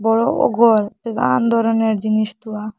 বড়ো নানান ধরনের জিনিস দেওয়া।